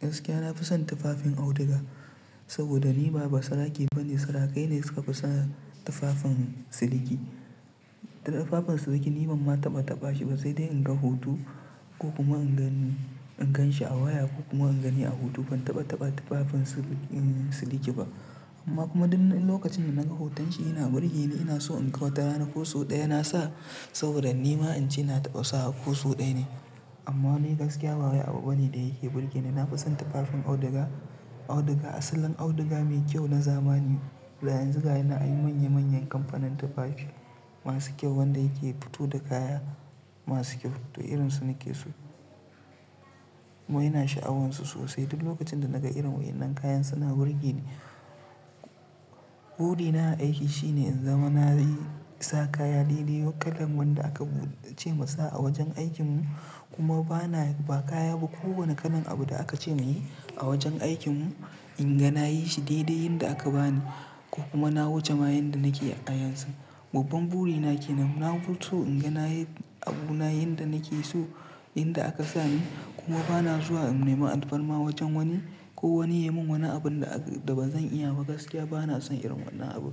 Gaskiya na fi son tufafin auduga saboda ni ba basarake ba ne. Sarakai ne suka fi son tufafin siliki. Tufafin siliki ni ban ma taɓa taɓa shi ba sai dai in ga hutu ko kuma in gani a waya ko kuma in gani a hutu ban taɓa taɓa tufafin siliki ba. Amma kuma duk lokacin da naga hutance ina burge ni, ina so inga watara ko sau ɗaya nasa saboda ni ma ance na taɓa sawa ko sau ɗaya ne. Amma ni gaskiya ba wai abu bane da yake burge ni. Na fi son tufafin auduga. Auduga asalin auduga mai kyau na zamani. Da yanzu gashinan an yi manya manyan kamfanin tufafi masu kyau wanda yake fito da kaya masu kyau to irin su nake so. Kuma ina sha'awarsu sosai. Duk lokacin da naga irin waɗannan kayan suna burge ni. Burina a aiki shine in zama na yi sa kaya daidai yawan kalan wanda aka ce musa a wajen aikin mu kuma ba na yi ba kaya ba ko wani kalan abu da aka ce na yi a wajen aikin mu. In ga na yi shi daidai yanda aka bani ko kuma na wuce ma yanda nake a yanzu. Babban burina ke nan. Na so in ga na yi abu na yanda nake so yanda aka sa ni kuma ba na zuwa in nema alfarma wajen wani ko wani ya yi min wani abun da ba zan iya ba. Gaskiya ba na son irin wannan abu.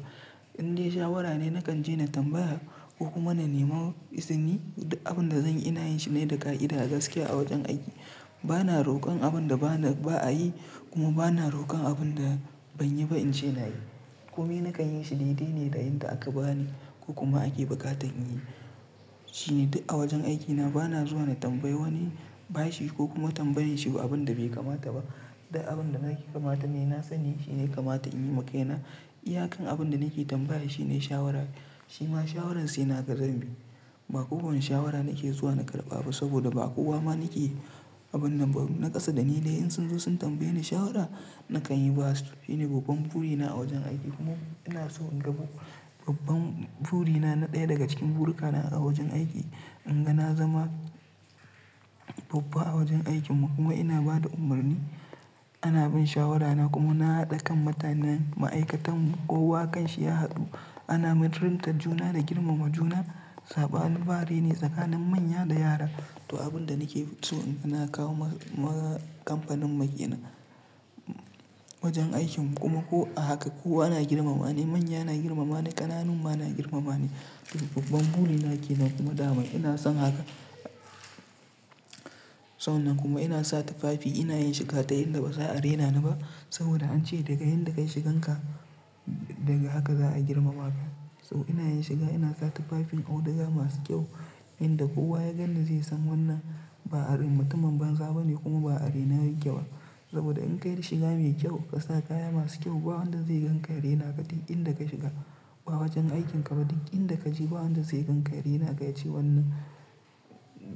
Inde shawara ne nakan je na tambaya ko kuma na nema izini duk abun da zan iya yin shi ne da ka'ida gaskiya a wajen aiki. Ba na rokon abun da ba'a yi kuma ba na rokon abun da ban yi ba in ce na yi. Ku me nakan yin shi daidai ne da yadda aka bani ko kuma ake buƙatan in yi. Shi ne duk a wajen aikina ba na zuwa na tambayi wani bashi ko kuma tambaye shi abun da bai kamata ba. Duk abun da nake kamata ne na sani shi ya kamata in yiwa maka ina. Iyakan abun da nake tambaya shi ne shawara, shi ma shawararsa ina ga zambi. Ba kowane shawara nake zuwa na karɓa ba saboda ba kowa ma nake abun nan ba. Na kasa da ni dai in sun zo sun tambaye ni shawara nakan yi ba su. Shi ne babban burina a wajen aiki kuma ina so in rabo babban burina na ɗaya daga cikin buruka na a wajen aiki. In ga na zama babba a wajen aikin mu kuma ina ba da umarni, ana bin shawarana kuma na haɗa kan mutanen ma'aikatan mu kowa kan shi ya haɗu. Ana mutunta juna da girmama juna. Saɓanin bare ne tsakanin manya da yara da abun da nake so ina kawo wa kamfanin mu kenan wajen aikin mu kuma ko haka kowa ana girmama ni, manya ana girmama ni, ƙananun ma ana girmama ni. Duk babban burina ke nan kuma dama ina son haka. San nan kuma ina sa tufafi, ina yin shiga ta yadda ba za a raina ni ba saboda an ce daga yadda ka yi shigan ka daga haka za a girmama ka. Toh ina yin shiga ina sa tufafin auduga masu kyau inda kowa ya gani zai san wannan ba a rin mutumin banza bane kuma ba a raine yake ba. Saboda in ka yi shiga mai kyau ka sa kaya masu kyau ba wanda zai gan ka ya raina ka. Duk inda ka shiga ba wajen aikin ka ba duk inda ka je ba wanda zai gan ka ya raina ka ya ce wannan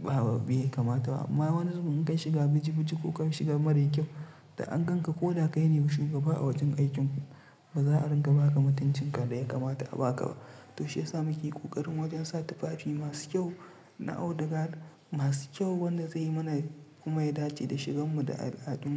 ba be kamata ba. Amma wani zubun in ka yi shiga biji biji ko ka yi shiga mara kyau da an gan ka ko kai ne shugaba a wajen aikin ku ba za a ringa ba ka matuncin ka da ya kamata a ba ka ba. Toshe sa muke ƙoƙarin wajen sa tufafi masu kyau na auduga masu kyau wanda zai mana kuma ya dace da shigan mu da al'adun mu.